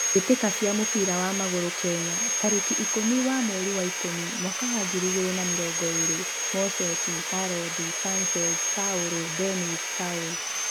Mbitika cia mũbira wa magũrũ Kenya tarĩki ikũmi wa mweri wa Ikũmi mwaka wa ngiri igĩrĩ na mĩrongo ĩĩrĩ: Moses, Hallod, Sanchez, Paul, Dennis, Saul